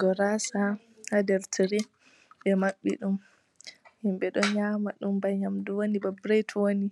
Gorasa ha ɗer tire ɓe maɓɓi ɗum. Himɓe ɗo nyama ɗum ɓa nyamɗu woni ɗon banta ɓiret woni